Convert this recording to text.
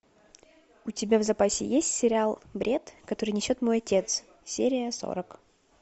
у тебя в запасе есть сериал бред который несет мой отец серия сорок